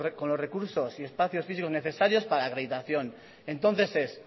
con los recursos y espacios físicos necesarios para la acreditación entonces es